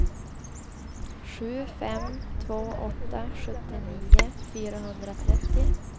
sju fem två åtta sjuttionio fyrahundratrettio